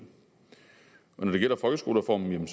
når det gælder folkeskolereformen